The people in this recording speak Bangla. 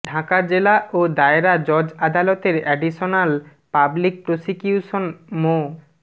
ঢাকা জেলা ও দায়রা জজ আদালতের এডিশনাল পাবলিক প্রসিউকিউশন মো